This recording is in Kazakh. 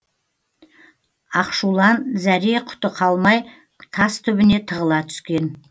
ақшулан зәре құты қалмай тас түбіне тығыла түскен